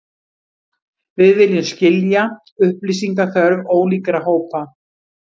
Við viljum skilja upplýsingaþörf ólíkra hópa